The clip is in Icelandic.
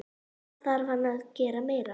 Hvað þarf hann að gera meira?